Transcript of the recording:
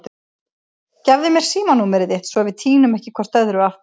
Gefðu mér símanúmerið þitt svo við týnum ekki hvort öðru aftur.